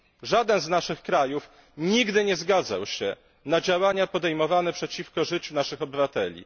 Żaden z naszych krajów nigdy nie zgadzał się na działania podejmowane przeciwko życiu naszych obywateli.